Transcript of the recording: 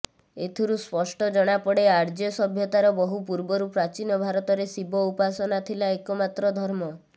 ଏଥିରୁ ସ୍ପଷ୍ଟ ଜଣାପଡ଼େ ଆର୍ଯ୍ୟ ସଭ୍ୟତାର ବହୁ ପୂର୍ବରୁ ପ୍ରାଚୀନ ଭାରତରେ ଶିବ ଉପାସନା ଥିଲା ଏକମାତ୍ର ଧର୍ମ